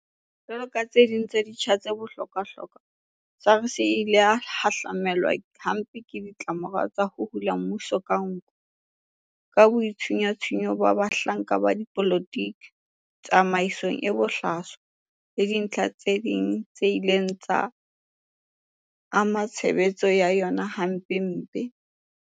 Jwalo ka tse ding tsa ditsha tse bohlokwahlokwa, SARS e ile ya hahlamelwa hampe ke ditlamorao tsa ho hula mmuso ka nko, ka boitshunyatshunyo ba bahlanka ba dipolotiki, tsamaiso e bohlaswa le dintlha tse ding tse ileng tsa ama tshebetso ya yona hampempe.